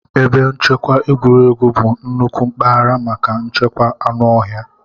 Ebe nchekwa egwuregwu bụ nnukwu mpaghara maka nchekwa anụ ọhịa.